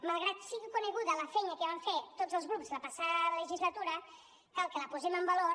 malgrat que sigui coneguda la feina que vam fer tots els grups la passada legislatura cal que la posem en valor